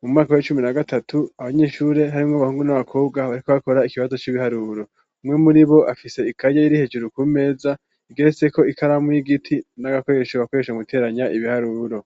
mu mwaka w'icumi na gatatu abanyeshure harimwo bahungu n'abakobwa bariko bakora ikibazo c'ibiharuro umwe muri bo afise ikaye iri hejeru ku meza igeretseko ikaramu y'igiti n'agakoresho bakoresha mu guteranya ibiharuro.